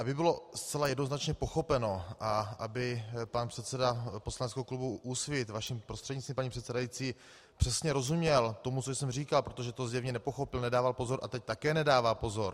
Aby bylo zcela jednoznačně pochopeno a aby pan předseda poslaneckého klubu Úsvit, vaším prostřednictvím, paní předsedající, přesně rozuměl tomu, co jsem říkal, protože to zjevně nepochopil, nedával pozor - a teď také nedává pozor.